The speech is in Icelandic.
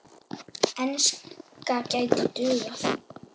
Enska gæti dugað.